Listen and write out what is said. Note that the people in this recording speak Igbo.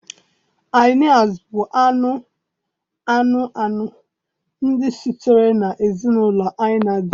Hinias bụ anụ anụ anụ ndị sitere na ezinụlọ Hyaenidae